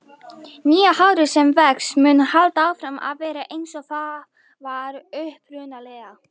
Nýja hárið sem vex mun halda áfram að vera eins og það var upprunalega.